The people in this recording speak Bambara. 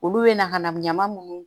Olu bɛ na ka na ɲaman munnu